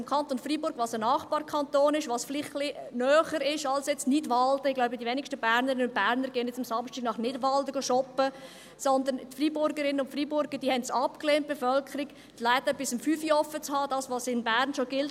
Im Kanton Freiburg, einem Nachbarkanton, der vielleicht näher ist als Nidwalden – ich glaube, die wenigsten Bernerinnen und Berner gehen samstags nach Nidwalden shoppen –, haben es die Freiburgerinnen und Freiburger, die Bevölkerung, abgelehnt die Läden bis 17 Uhr geöffnet zu halten, also das, was in Bern schon gilt.